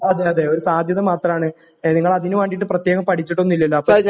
അതേ അതേ ഒരു സാധ്യത മാത്രമാണ് നിങ്ങൾ അതിനു വേണ്ടിയിട്ട് പ്രത്യേകം പടിച്ചിട്ടോന്നുമില്ലല്ലോ